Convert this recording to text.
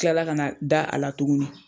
I kilala ka na da a la tugunni.